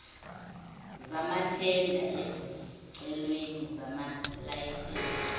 zamathenda ezicelweni zamalayisense